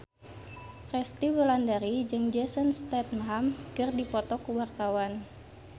Resty Wulandari jeung Jason Statham keur dipoto ku wartawan